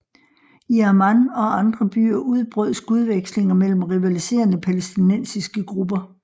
I Amman og andre byer udbrød skudvekslinger mellem rivaliserende palæstinensiske grupper